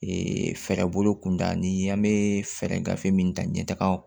Ee fɛɛrɛ bolo kun da ni an be fɛɛrɛ gafe min ta ɲɛtaaga